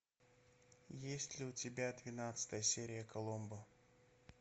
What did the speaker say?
есть ли у тебя двенадцатая серия коломбо